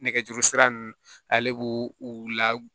Nɛgɛjuru sira ninnu ale b'u u la